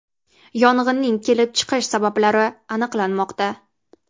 Yong‘inning kelib chiqish sabablari aniqlanmoqda.